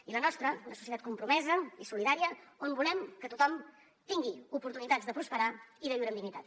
i la nostra és una societat compromesa i solidària on volem que tothom tingui oportunitats de prosperar i de viure amb dignitat